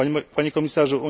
Panie Komisarzu!